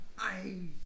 Ej!